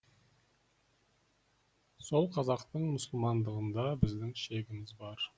сол қазақтың мұсылмандығында біздің шегіміз бар